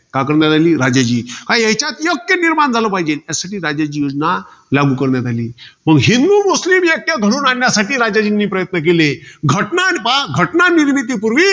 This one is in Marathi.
का करून राहिली? राजाजी. याच्यात ऐक्य निर्माण झालं पाहिजे, म्हणून राजाजी योजना लागू करण्यात आली. मग हिंदू, मुस्लीम ऐक्य धरून आणण्यासाठी राजाजींनी प्रयत्न केले. घटना पहा, घटनानिर्मितीपूर्वी